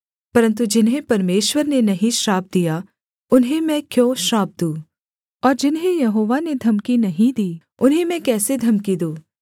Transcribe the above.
परन्तु जिन्हें परमेश्वर ने नहीं श्राप दिया उन्हें मैं क्यों श्राप दूँ और जिन्हें यहोवा ने धमकी नहीं दी उन्हें मैं कैसे धमकी दूँ